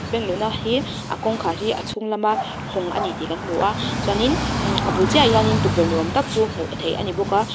bank luhna hi a kawngkhar hi a chhung lamah hawng a ni tih kan hmu a chuanin a bul chiahah hianin tukverh ni awm tak chu hmuh theih a ni bawk a.